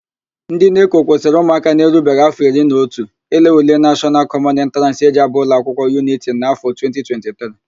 NdỊ NECO kwụsịrị ụmụaka na-erubeghi áfọ iri na otu ile ule nashọnal kọmọn entraans e ji ábà ụlọakwụkwọ yuniti na áfọ 2023